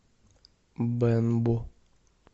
бэнбу